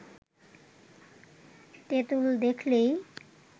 তেঁতুল দেখলেই